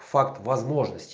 факт возможность